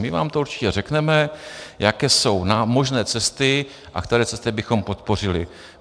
My vám to určitě řekneme, jaké jsou možné cesty a které cesty bychom podpořili.